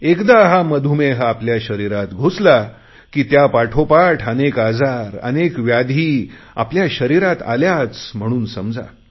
एकदा हा मधुमेह आपल्या शरीरात घुसला की त्या पाठोपाठ अनेक आजार व्याधी आपल्या शरीरात आल्याच म्हणून समजा